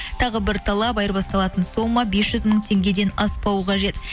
тағы бір талап айырбасталатын сома бес жүз мың теңгеден аспау қажет